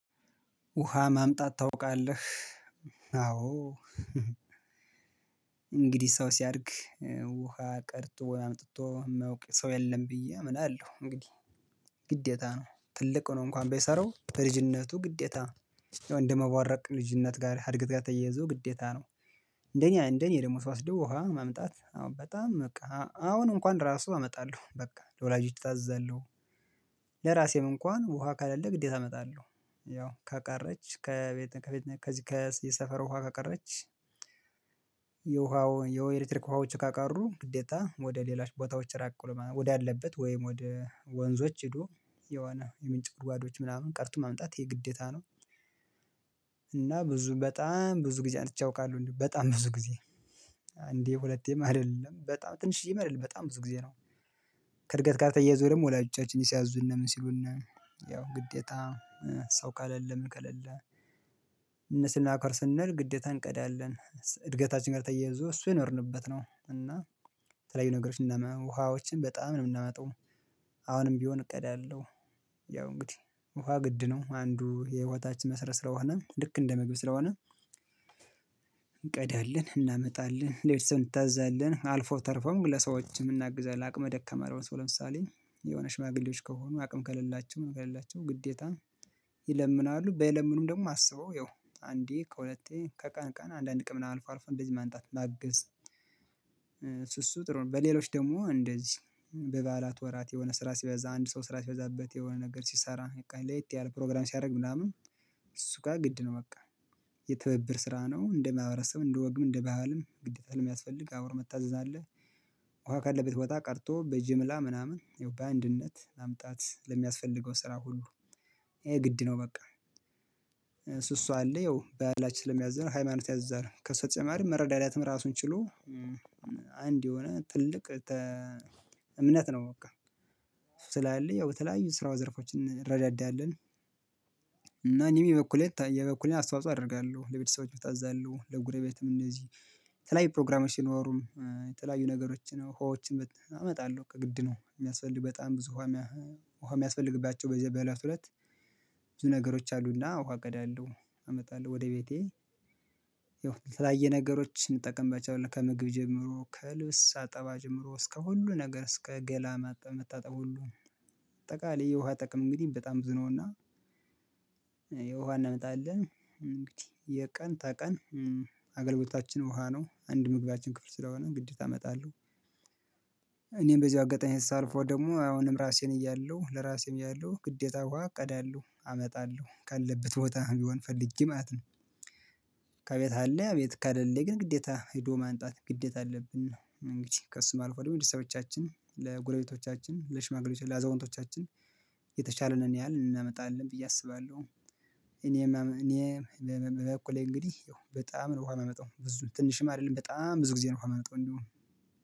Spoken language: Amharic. ውሃ ማምጣት ታውቃለህ አዎ እንግዲህ ሰው ሲያድግ ውሃ ቀርቶ ወይ አምጥቶ የማያውቅ ሰው የለም ብዬ አምናለሁ። እንግዲህ ግዴታ ነው ትልቅ ሆኖ እንኳን ባይሰራው በልጅነቱ ግዴታ ነው። ያው እንደመቦረቅ ልጅነት ጋር እድገት ጋር ተያይዞ ግዴታ ነው። እንደኔ እንደኔ ደግሞ ስውስደው ውሃ ማምጣት አዎ በጣም በቃ አሁን እንኳን ራሱ አመጣለሁ በቃ ለወላጆች እታዘዛለሁ። ለራሴም እንኳን ውሃ ከለለ ግዴታ አመጣለሁ ያው ከቀረች ከቤት ከቤት ከዚህ ከሰፈር ውሃ ከቀረች። የውሃው ወይ የኤሌክትሪክ ውሃዎች ከቀሩ ግዴታ ወደ ሌሎች ቦታዎች ራቅ ማለት ነው ወደ አለበት ወይም ወደ ወንዞች ሄዶ የሆነ የምንጭ ጉድጓዶች ምናምን ቀርቶ ማምጣት ይሄ ግዴታ ነው። እና ብዙ በጣም ብዙ ጊዜ አምጥቼ አውቃለሁ በጣም ብዙ ጊዜ እንዴ ሁለቴም አይደለም በጣም ትንሽዬም አይደለም በጣም ብዙ ጊዜ ነው። ከእርገት ጋር ተያያዞ ደግሞ ወላጆቻችን ሲያዙን ምን ሲሉን ያው ግዴታ ሰው ከለለ ምን ከሌለ? እነሱን ለማክበር ስንል ግዴታ እንቀዳለን እድገታችን ጋር ተያይዞ እሱ የኖርንበት ነው እና ተለያዩ ነገሮችን ውሃዎችን በጣም ነው የምናመጣው። አሁንም ቢሆን እቀዳለሁ ያው እንግዲህ ውሃ ግድ ነው አንዱ የህይውታችን መስረት ስለሆነ ልክ እንደምግብ ስለሆነ። እንቀዳለን እናመጣለን ለቤተሰብ እንታዘዛለን አልፎ ተርፎም ለሰዎችም እናግዛለን ለአቅመ ደካማ ለሆነ ሰው ለምሳሌ የሆነ ሽማግሌዎች ከሆኑ አቅም ከሌላቸው ምናምን ግዴታ። ይለምናሉ ባይለምኑም ደግሞ አስበው ያው አንዴ ከሁለቴ ከቀን ቀን አንዳንድ ቀን ምናምን አልፎ አልፎ እንደዚህ ማንጣት ማገዝ ጥሩ ነው። በሌሎች ደግሞ እንደዚህ በበዓላት ወራት የሆነ ስራ ሲበዛ አንድ ሰው ስራ ሲበዛበት የሆነ ነገር ሲሰራ በቃ ለየት ያለ ፕሮግራም ሲያደርግ ምናምን። እሱ ጋር ግድ ነው በቃ። የትብብር ስራ ነው እንደማህበረሰብ እንደወግም እንደባህልም ግዴታ ለሚያስፈልግ አውር መታዘዝ አለ። ውሃ ካለበት ቦታ ቀርቶ በጅምላ ምናምን ያው በአንድነት ማምጣት ለሚያስፈልገው ስራ ሁሉ ይሄ ግድ ነው በቃ። እሱ አለ ያው ባህላችን ስለሚያዘን ሃይማኖት ያዝዛል ከሱ በተጨማሪ መረዳዳትም ራሱን ችሎ አንድ የሆነ ትልቅ እምነት ነው። በቃ እሱ ስላለ ያው በተለያዩ ስራ ዘርፎችን እንረዳዳለን። እና እኔም የበኩሌ የበኩሌ አስተዋጽኦ አደርጋለሁ ለቤተሰቦችም እታዛለሁ ለጎረቤትም እንደዚህ የተለያዩ ፕሮግራሞች ሲኖሩም የተለያዩ ነገሮችን ነው ውሃዎችን እመጣለሁ በቃ ግድ ነው የሚያስፈልግ በጣም ብዙ። ውሃ የሚያስፈልግባቸው በለቱ ለት ብዙ ነገሮች አሉና ውሃ እቀዳለሁ አመጣለሁ ወደ ቤቴ። ያው የተለያየ ነገሮችን እንጠቀምባቸዋለን ከምግብ ጀምሮ ከልብስ አጠባ ጀምሮ እስከ ሁሉ ነገር እስከ ገላ ማጣብ መታጠብ ሁሉ አጠቃላይ የውሃ ጥቅም እንግዲህ በጣም ብዙ ነውና። የውሃ እናመጣለን እንግዲህ የቀን ተቀን አገልግሎታችን ውሃ ነው አንድ ምግባችን ክፍል ስለሆነ ግዴታ እመጣለሁ። እኔም በዚህ አጋጣሚ ሳልፈው ደግሞ አሁንም ራሴን እያለሁ ለራሴም እያለሁ ግዴታ ውሃ እቀዳለሁ አመጣለሁ ካለበት ቦታ ቢሆን ፈልጌ ማለት ነው። ከቤት አለ ቤት ከለለ ግን ግዴታ ሄዶ ማንጣት ግዴታ አለብን እንግዲህ ከእሱም አልፎም ለቤተሰቦቻችን ለጎረቤቶቻችን ለሽማግሌዎች ለአዛውንቶቻችን የተቻለንን ያህል እናመጣለን ብዬ አስባለሁ። እኔ እኔ በበኩሌ እንግዲህ ያው በጣም ነው ውሃ የምመጣው ብዙ ትንሽም አይደለም በጣም ብዙ ጊዜ ነው የማመጣው እንደውም